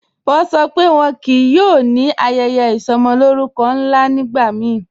Wọ́n ṣọ́ pé wọ́n kíí yóò ní ayẹyẹ isọmọlórùkọ́ nla nígbàmíì